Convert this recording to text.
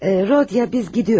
Hı Rodiya, biz gidiyoruz.